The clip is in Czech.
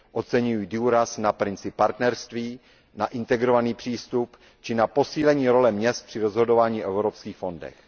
Oceňuji důraz na princip partnerství, na integrovaný přístup či na posílení role měst při rozhodování o evropských fondech.